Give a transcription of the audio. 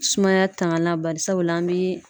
Sumaya tangalan bari sabula an bɛ